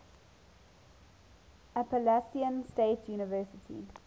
appalachian state university